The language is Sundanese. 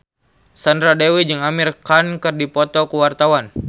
Sandra Dewi jeung Amir Khan keur dipoto ku wartawan